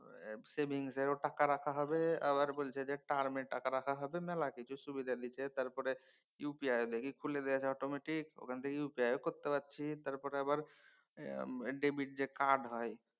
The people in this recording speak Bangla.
savings এও টাকা রাখা হবে আবার বলছে যে term এ টাকা রাখা হবে। মেলা কিছু সুবিধা দিছে তারপরে UPI দেখি খুলে গেছে automatic ওখান থেকে UPI ও করতে পারছি। তারপর আবার debit যে কার্ড হয়